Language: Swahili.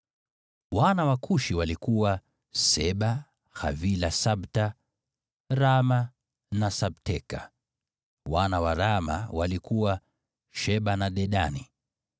Wana wa Kushi walikuwa: Seba, Havila, Sabta, Raama na Sabteka. Wana wa Raama walikuwa: Sheba na Dedani.